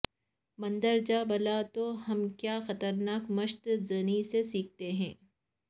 مندرجہ بالا تو ہم کیا خطرناک مشت زنی سے سیکھتے ہیں